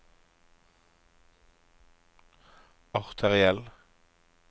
arteriell